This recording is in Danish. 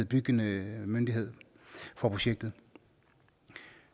byggende myndighed for projektet